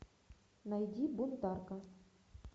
найди бунтарка